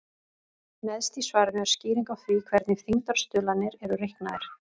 Neðst í svarinu er skýring á því hvernig þyngdarstuðlarnir eru reiknaðir.